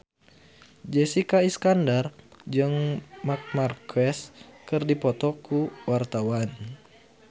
Jessica Iskandar jeung Marc Marquez keur dipoto ku wartawan